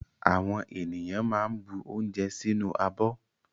Àwọn ènìyàn máa ń bu oúnjẹ sínú abọ́.